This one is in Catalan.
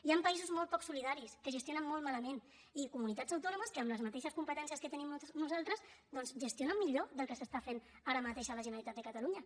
hi han països molt poc solidaris que gestionen molt malament i comunitats autònomes que amb les mateixes competències que tenim nosaltres doncs gestionen millor del que s’està fent ara mateix a la generalitat de catalunya